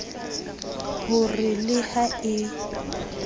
ho re le ha e